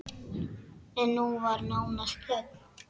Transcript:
En nú var nánast þögn!